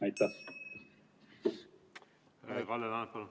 Kalle Laanet, palun!